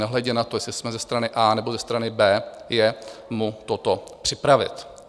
nehledě na to, jestli jsme ze strany A, nebo ze strany B, je mu toto připravit.